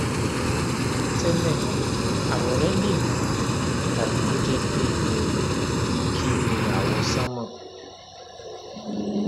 tẹlẹ àwọ rẹ le mọ tàbí kó jẹ pale yẹlò kìí ní àwọ sánmà